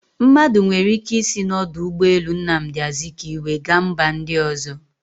Mmadụ nwere ike isi na ọdụ ụgbọ elu Nnamdi azikwe gaa mba ndị ọzọ